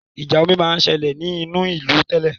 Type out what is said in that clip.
Ìjà omi ma ń sẹlẹ̀ ní inú ìlú tẹ́lẹ̀